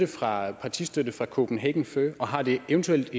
partistøtte fra kopenhagen fur og har det eventuelt